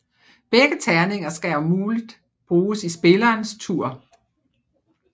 Begge terninger skal om muligt bruges i spillerens tur